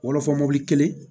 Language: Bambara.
Wɔlɔfɔ mɔbili kelen